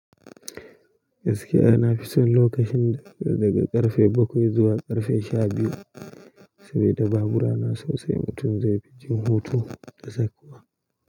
Gaskiya nafi son lokacin daga ƙarfe bakwai zuwa ƙarfe sha biyu saboda babura na sosai mutum zai fi jin hutu da tsakuwa.